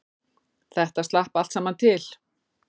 Þetta slapp allt saman til